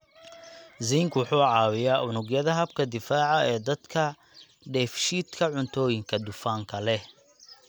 Zinc wuxuu caawiyaa unugyada habka difaaca ee dadka dheefshiidka cuntooyinka dufanka leh